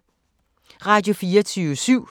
Radio24syv